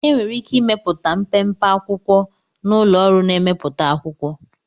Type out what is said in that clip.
Enwere ike ịmepụta mpempe akwụkwo na ụlọ ọrụ na-emepụta akwụkwọ